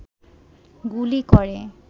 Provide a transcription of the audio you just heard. গুলি করে